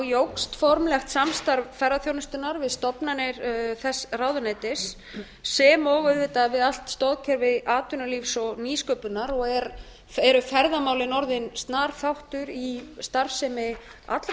jókst formlegt samstarf ferðaþjónustunnar við stofnanir þess ráðuneytis sem og auðvitað við allt stoðkerfi atvinnulífs og nýsköpunar og eru ferðamálin orðin snar þáttur í starfsemi allra